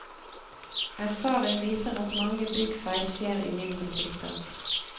Erfaring viser at mange byggfeil skjer i mindre tiltak.